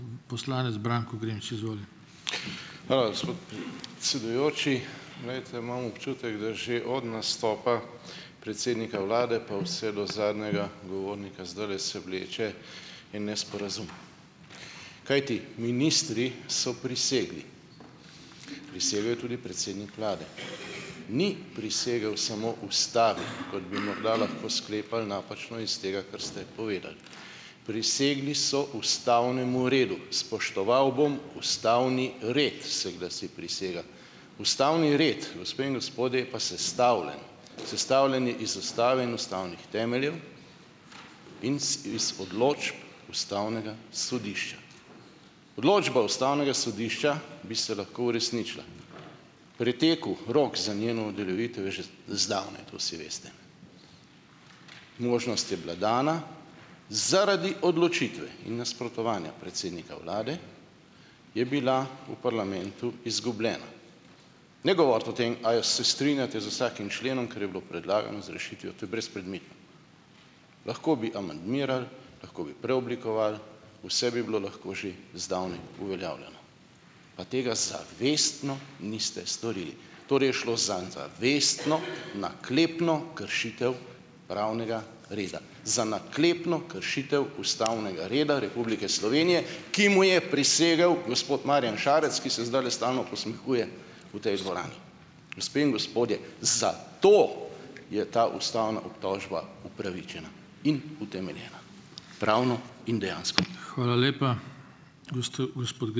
Hvala, gospod predsedujoči. Glejte, imam občutek, da že od nastopa predsednika vlade pa vse do zadnjega govornika zdajle se vleče en nesporazum. Kajti ministri so prisegli, prisegel je tudi predsednik vlade. Ni prisegel samo ustavi, kot bi morda lahko sklepali napačno iz tega, kar ste povedali. Prisegli so ustavnemu redu. Spoštoval bom ustavni red, se glasi prisega. Ustavni red, gospe in gospodje, je pa sestavljen. Sestavljen je iz ustave in ustavnih temeljev in it iz odločb ustavnega sodišča. Odločba ustavnega sodišča bi se lahko uresničila. Pretekel rok za njeno uveljavitev je že zdavnaj, to vsi veste. Možnost je bila dana. Zaradi odločitve in nasprotovanja predsednika vlade je bila v parlamentu izgubljena. Ne govoriti o tem, ali se strinjate z vsakim členom, kar je bilo predlagano z rešitvijo, to je brezpredmetno. Lahko bi amandmiral, lahko bi preoblikoval, vse bi bilo lahko že zdavnaj uveljavljeno, a tega zavestno niste storili. Torej je šlo za zavestno, naklepno kršitev pravnega reda. Za naklepno kršitev ustavnega reda Republike Slovenije, ki mu je prisegel gospod Marjan šarec, ki se zdajle stalno posmehuje v tej dvorani! Gospe in gospodje, zato je ta ustavna obtožba upravičena in utemeljena - pravno in dejansko.